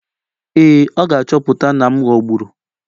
Ee, ọ ga-achọpụta na m ghọgburu.